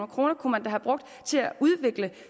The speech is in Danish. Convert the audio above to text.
kroner kunne man da have brugt til at udvikle